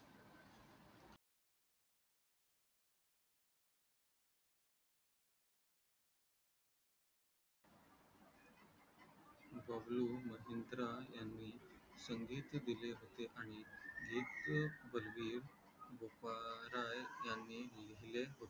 बबलू महिंद्रा यांनी संगीत दिले होते आणि गीत बलवीर बोपाराय यांनी लिहिले होते